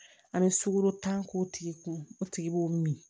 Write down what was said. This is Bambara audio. An bɛ sukoro tan k'o tigi kun o tigi b'o min